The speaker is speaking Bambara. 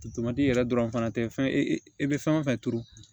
yɛrɛ dɔrɔn fana tɛ fɛn e bɛ fɛn o fɛn turu